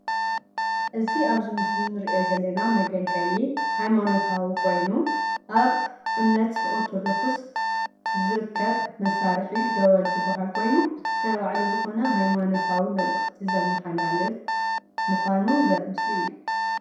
እዝ ኣብ እዚ ምስሊ ንርኦ ዘለና መግልግሊ ሃይማናታቂ ኮይኑ ኣብ እምነት ኣርቶዶክስ ዝርከብ መሰርሕ ደወል ዝበሃል ኮይኑ ናይ ባዓሉ ዝኮነ ሃይማኔታዊ መልእክቲ ዘማሓላልፍ ምኳኑ ዘርኢ ምስሊ እዩ።